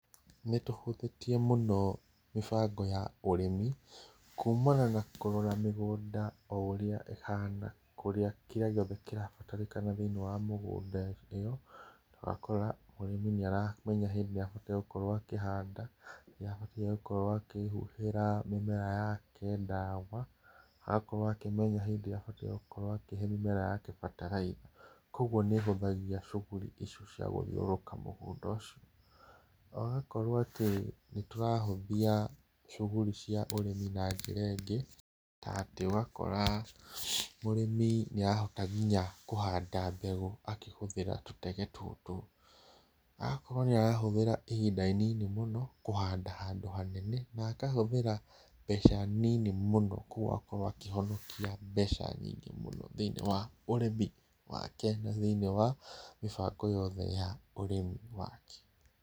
Nĩtũhũthĩtie mũno mĩbango ya ũrĩmi kũmana na kũrora mĩgũnda o ũrĩa ĩhana, kĩrĩa gĩothe kĩrabatarĩkana thĩinĩ wa mũgũnda ĩyo, ũgakora mũrĩmi nĩaramenya hĩndĩ ĩrĩa abataire gũkorwo akĩhanda rĩrĩa abatie gũkorwo akĩhũhĩra mĩmera yake ndawa, agakorwo akĩmenya rĩrĩa abatie gũkorwo akihe mĩmera yake bataraitha, koguo nĩĩhũthagia cuguri icio cia gũthiũrũrũka mũgũnda ũcio. Ũgakorwo atĩ nĩtũrahũthia cuguri cia ũrĩmi na njĩra ĩngĩ, ta atĩ ũgakora mũrĩmi nĩarahota nginya kũhanda mbegũ akĩhũthĩra tũtege tũtũ, agakorwo nĩarahũthĩra ihinda inini mũno kũhanda handũ hanene na akahũthĩra mbeca nini mũno koguo agakorwo akĩhonokia mbeca nyingĩ mũno thĩinĩ wa ũrĩmi wake na thĩinĩ wa mĩbango yothe ya ũrĩmi wake.